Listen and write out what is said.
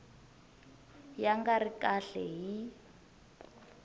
ya nga ri kahle hi